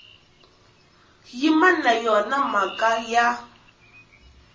yimi na yona mhaka ya